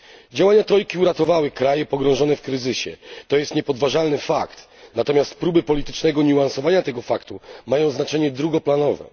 Działania trojki uratowały kraje pogrążone w kryzysie jest to niepodważalny fakt, natomiast próby politycznego niuansowania tego faktu mają znaczenie drugoplanowe.